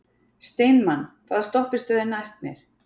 Steinmann, hvaða stoppistöð er næst mér?